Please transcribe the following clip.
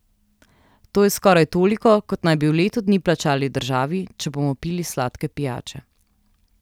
To je skoraj toliko, kot naj bi v letu dni plačali državi, če bomo pili sladke pijače.